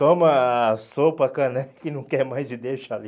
Toma a sopa, a caneca e não quer mais e deixa ali.